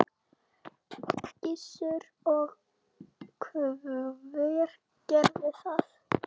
Gissur: Og hver gerði það?